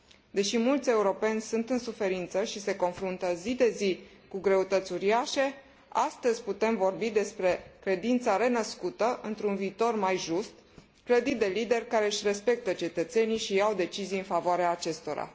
Deși mulți europeni sunt în suferință și se confruntă zi de zi cu greutăți uriașe, astăzi putem vorbi despre credința renăscută într un viitor mai just, clădit de lideri care își respectă cetățenii și iau decizii în favoarea acestora.